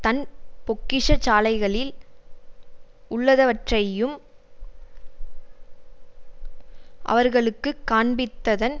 தன் பொக்கிஷசாலைகளில் உள்ளதவற்றையும் அவர்களுக்கு காண்பித்ததன்